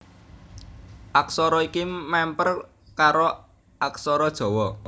Aksara iki mèmper karo aksara Jawa